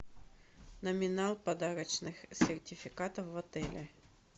номинал подарочных сертификатов в отеле